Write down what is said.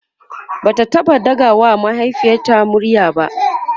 Bata taɓa ɗaga wa mahaifiyarta murya ba